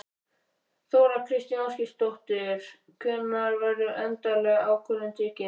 Þóra Kristín Ásgeirsdóttir: Hvenær verður endaleg ákvörðun tekin?